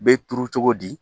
Bɛ turu cogo di